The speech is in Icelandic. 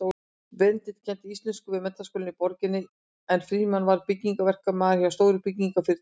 Benedikt kenndi íslensku við menntaskóla í borginni en Frímann var byggingaverkamaður hjá stóru byggingarfyrirtæki.